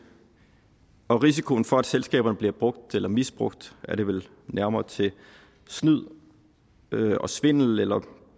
og risikoen for at selskaberne bliver brugt eller misbrugt er det vel nærmere til snyd og svindel eller